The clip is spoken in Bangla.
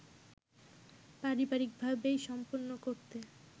পারিবারিকভাবেই সম্পন্ন করতে